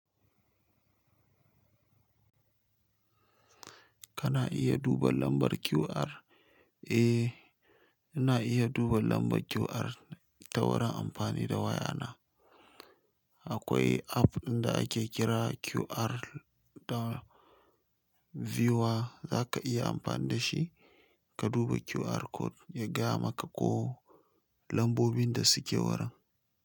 Kana iya duba lambar QR? Eh, ina iya duba lambar QR ta wurin amfani da waya na. Akwai app ɗin da ake kira QR da viewer za ka iya amfani da shi ka duba QR code ya gaya maka ko lambobin da suke wurin.